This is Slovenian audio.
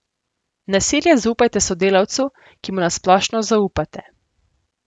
Nasilje zaupajte sodelavcu, ki mu na splošno zaupate.